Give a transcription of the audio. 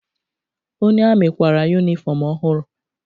Onye amị kwara yunifọmụ ọhụrụ.